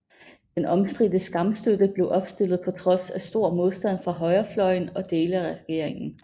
Den omstridte Skamstøtte blev opstillet på trods af stor modstand fra højrefløjen og dele af regeringen